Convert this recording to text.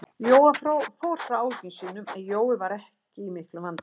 Jóa frá áhyggjum sínum, en Jói var ekki í miklum vandræðum.